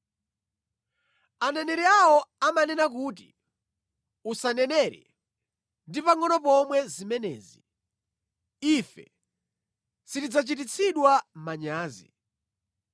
Aneneri awo amanena kuti, “Usanenere! Usanenere ndi pangʼono pomwe zimenezi; ife sitidzachititsidwa manyazi.”